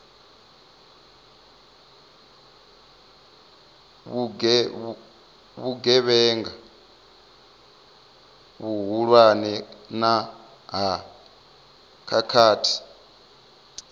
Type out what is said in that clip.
vhugevhenga vhuhulwane na ha khakhathi